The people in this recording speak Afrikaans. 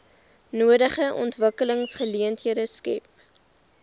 nodige ontwikkelingsgeleenthede skep